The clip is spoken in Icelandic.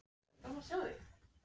Arnór var þar ekki, sagði Halldór.